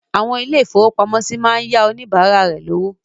Àwọn ilé-ìfowópamọ́sí máa ń yá àwon oníbàárà rẹ lówó.